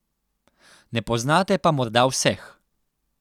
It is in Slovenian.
Ne poznate pa morda vseh.